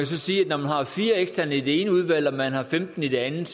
så sige at når man har fire eksterne i det ene udvalg og man har femten i det andet